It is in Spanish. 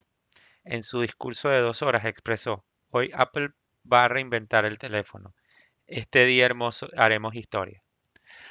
en su discurso de dos horas expresó: «hoy apple va a reinventar el teléfono. este día haremos historia»